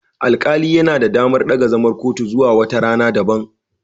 Alƙali yana da damar daga zaman kotu zuwa wata rana daban.